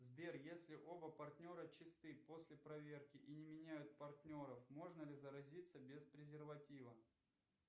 сбер если оба партнера чисты после проверки и не меняют партнеров можно ли заразиться без презерватива